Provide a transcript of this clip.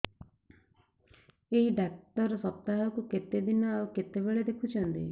ଏଇ ଡ଼ାକ୍ତର ସପ୍ତାହକୁ କେତେଦିନ ଆଉ କେତେବେଳେ ଦେଖୁଛନ୍ତି